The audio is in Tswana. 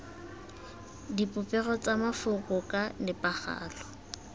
dipopego tsa mafoko ka nepagalo